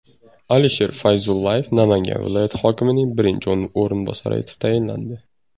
Alisher Fayzullayev Namangan viloyati hokimining birinchi o‘rinbosari etib tayinlandi.